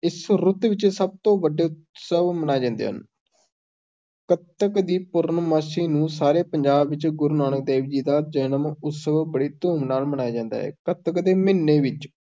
ਇਸ ਰੁੱਤ ਵਿੱਚ ਸਭ ਤੋਂ ਵੱਡੇ ਉਤਸਵ ਮਨਾਏ ਜਾਂਦੇ ਹਨ ਕੱਤਕ ਦੀ ਪੂਰਨਮਾਸੀ ਨੂੰ, ਸਾਰੇ ਪੰਜਾਬ ਵਿੱਚ, ਗੁਰੂ ਨਾਨਕ ਦੇਵ ਜੀ ਦਾ ਜਨਮ-ਉਤਸਵ, ਬੜੀ ਧੂਮ ਨਾਲ ਮਨਾਇਆ ਜਾਂਦਾ ਹੈ, ਕੱਤਕ ਦੇ ਮਹੀਨੇ ਵਿੱਚ